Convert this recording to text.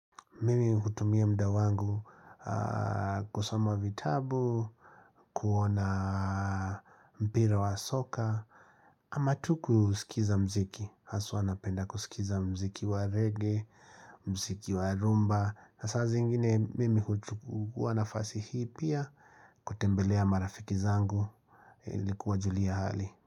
Mimi hutumia muda wangu kusoma vitabu, kuona mpira wa soka ama tu kusikiza mziki, haswa napenda kusikiza mziki wa reggae, mziki wa rhumba na saa ziingine mimi huchukua nafasi hii pia kutembelea marafiki zangu ili kuwajulia hali.